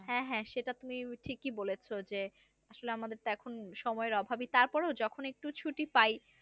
হ্যা হ্যা সেটা তুমি ঠিকই বলেছো যে আসলে আমাদের তো এখন সময়ের অভাবই তারপরও যখন একটু ছুটি পাই।